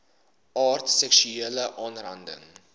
aard seksuele aanranding